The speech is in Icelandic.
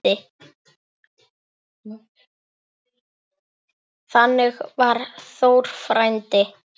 Þannig var Þór frændi.